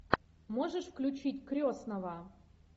можешь включить крестного